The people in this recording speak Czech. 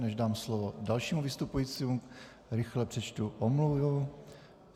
Než dám slovo dalšímu vystupujícímu, rychle přečtu omluvu.